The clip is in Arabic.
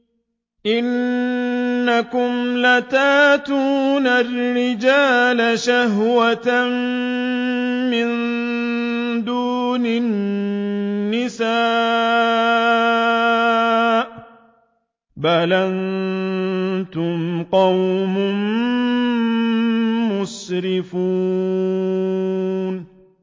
إِنَّكُمْ لَتَأْتُونَ الرِّجَالَ شَهْوَةً مِّن دُونِ النِّسَاءِ ۚ بَلْ أَنتُمْ قَوْمٌ مُّسْرِفُونَ